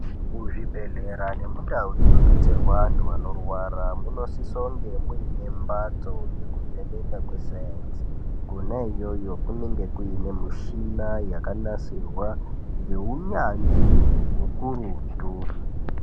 Muzvibhedhlera nemundau munodetserwa antu antu anorwara munosisa kunge muine mbatso yekuvheneka kesainzi. Kona iyoyo kunenge kuine mishina yakanasirwa ngeunyanzvi ukurutu.